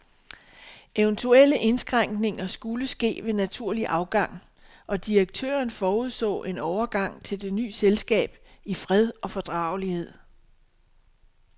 Eventuelle indskrænkninger skulle ske ved naturlig afgang, og direktøren forudså en overgang til det ny selskab i fred og fordragelighed.